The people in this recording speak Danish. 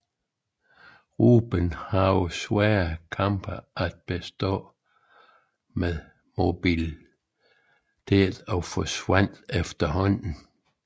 Ruben havde svære kampe at bestå med moabiterne og forsvandt efterhånden